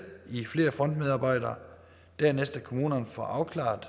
i flere frontmedarbejdere dernæst at kommunerne får afklaret